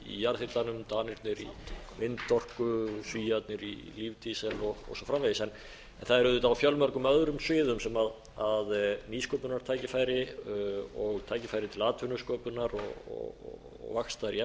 jarðhitanum danirnir í vindorku svíarnir í og svo framvegis en það er auðvitað á fjölmörgum öðrum sviðum sem nýsköpunartækifæri og tækifæri til atvinnusköpunar og vaxtar í